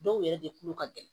Dɔw yɛrɛ de kulu ka gɛlɛn